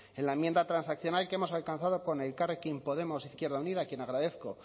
en la enmienda transaccional que hemos alcanzado con elkarrekin podemos izquierda unida a quien agradezco